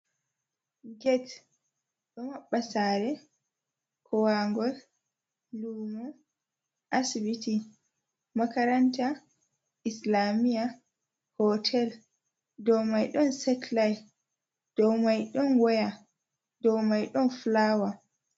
Get ɗo maɓɓa sare, kowangol, lumo, asibiti, makaranta, islamiya, hotel. Dou mai ɗon setlait, dou mai ɗon waya, dou mai ɗon flawa.